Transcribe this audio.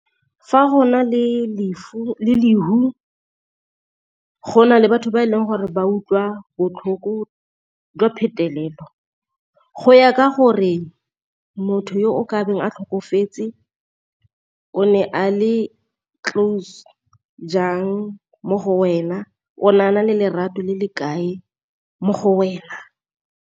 Fa go na le gona le batho ba e leng gore ba utlwa botlhoko jwa phetelelo, go ya ka gore mo motho yo o ka beng a tlhokafetse o ne a le close jang mo go wena o ne a na le lerato le le kae mo go wena.